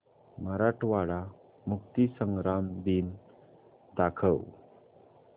मराठवाडा मुक्तीसंग्राम दिन दाखव